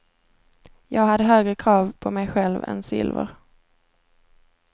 Jag hade högre krav på mig själv än silver.